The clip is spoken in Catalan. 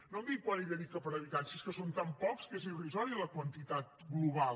no em digui quant hi dedica per habitant si és que són tan pocs que és irrisòria la quantitat global